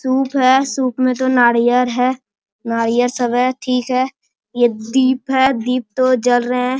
सुप है सुप में तो नारियल है | नारयल सब है ठीक है यह दिप है दिप तो जल रहे हैं |